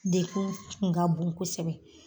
Degun kun ka bon kosɛbɛ.